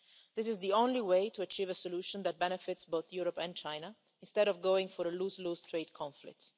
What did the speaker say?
fair. This is the only way to achieve a solution that benefits both Europe and China, instead of going for a lose-lose trade conflict.